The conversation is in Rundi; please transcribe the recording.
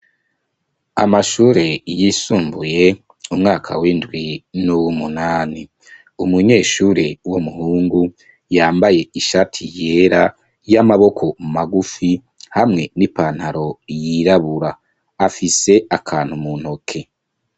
Amashure yisumbuye umwaka w'indwi n'uwumunani umunyeshure w'umuhungu yambaye ishati yera y'amaboko magufi hamwe n'ipantaro yirabura, afise akantu mu ntoke.